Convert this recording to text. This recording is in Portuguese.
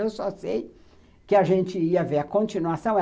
Eu só sei que a gente ia ver a continuação.